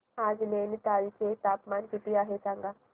आज नैनीताल चे तापमान किती आहे सांगा